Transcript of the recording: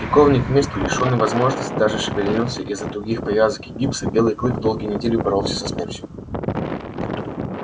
прикованный к месту лишённый возможности даже шевельнуться из за тугих повязок и гипса белый клык долгие недели боролся со смертью